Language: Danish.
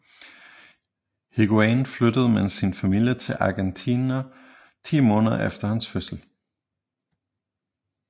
Higuaín flyttede med sin familie til Argentina 10 måneder efter hans fødsel